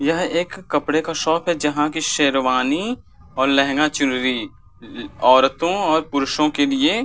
यह एक कपड़े का शॉप है जहाँ की शेरवानी और लेहंगा-चुनरी औरतों और पुरुषों के लिए --